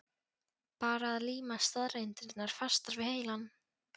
Bara að líma staðreyndirnar fastar við heilann.